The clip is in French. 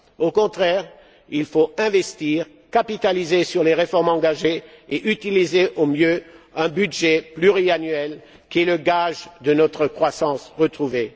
Au contraire, il faut investir, capitaliser sur les réformes engagées et utiliser au mieux un budget pluriannuel qui est le gage de notre croissance retrouvée.